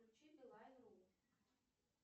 включи билайн ру